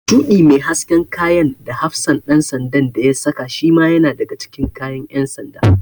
Shuɗi mai hasken kayan da hafsan ɗan sandan da ya saka shima yana daga cikin kayan ƴan sanda.